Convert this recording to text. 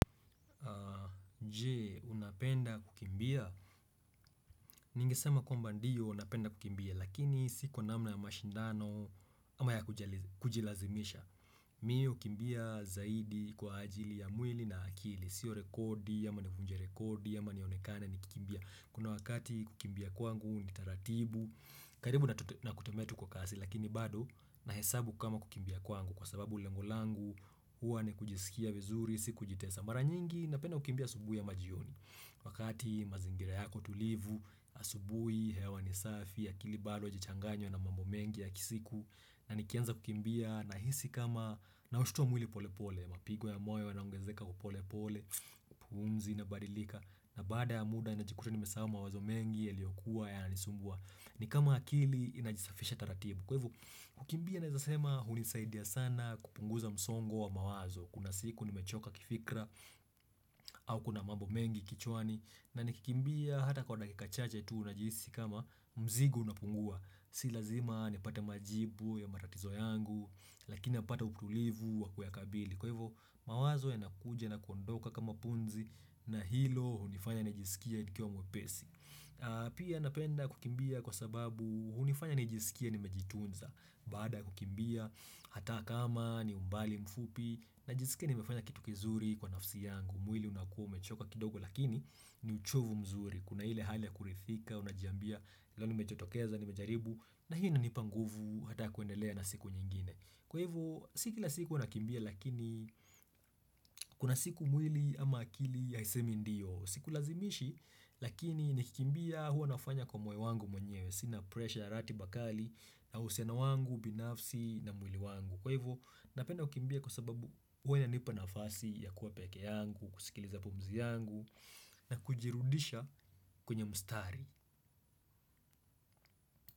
Nje, unapenda kukimbia. Ningesema kwamba ndiyo napenda kukimbia, lakini si kwa namna ya mashindano ama ya kujilazimisha. Mi hukimbia zaidi kwa ajili ya mwili na akili. Sio rekodi, ama navunja rekodi, ama nionekane nikikimbia. Kuna wakati kukimbia kwangu, ni taratibu, karibu na kutembea tu kwa kasi, lakini bado na hesabu kama kukimbia kwangu. Kwa sababu lengo langu, huwa ni kujisikia vizuri, si kujitesa. Mara nyingi, napenda kukimbia asubuhi ama jioni. Wakati mazingira yako tulivu, asubuhi, hewa ni safi, akili bado hiajachanganywa na mambo mengi ya kisiku. Na nikianza kukimbia na hisi kama na ushtuwa mwili pole pole, mapigo ya moyo yanaongezeka upole pole, pumzi inabadilika. Na baada ya muda ninajikuta nimesahau mawazo mengi, yaliokuwa yananisumbua. Ni kama akili inajisafisha taratibu. Kwa hivikimbia na hizasema hunisaidia sana kupunguza msongo wa mawazo. Kuna siku nimechoka kifikra au kuna mambo mengi kichwani na nikikimbia hata kwa dakika chache tuu najihisi kama mzigo unapungua Si lazima nipate majibu ya matatizo yangu lakina napata utulivu wa kuyakabili Kwa hivyo mawazo yanakuja na kuondoka kama pumzi na hilo hunifanya nijisikie nikiwa mwepesi Pia napenda kukimbia kwa sababu hunifanya nijisikie nimejitunza Baada kukimbia, hata kama ni umbali mfupi Najisikia nimefanya kitu kizuri kwa nafsi yangu mwili unakuwa umechoka kidogo lakini ni uchovu mzuri Kuna hile hali ya kurithika, unajiambia leo nimejotokeza, nimejaribu na hii inanipa nguvu hata ya kuendelea na siku nyingine Kwa hivo, si kila siku huwa nakimbia lakini Kuna siku mwili ama akili haisemi ndiyo Sikulazimishi lakini nikikimbia huwa nafanya kwa moyo wangu mwenyewe Sina pressure, ratiba kali na uhusiano wangu, binafsi na mwili wangu Kwa hivyo, napenda kukimbia kwa sababu Uwa inanipa nafasi ya kuwa peke yangu kusikiliza pumzi yangu na kujirudisha kwenye mstari.